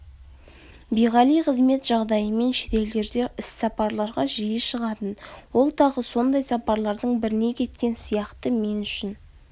биғали қызмет жағдайымен шетелдерде іссапарларға жиі шығатын ол тағы сондай сапарлардың біріне кеткен сияқты мен үшін